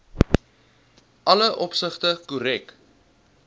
alle opsigte korrek